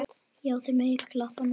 Já, þið megið klappa núna.